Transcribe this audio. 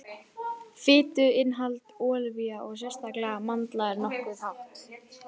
fituinnihald ólíva og sérstaklega mandla er nokkuð hátt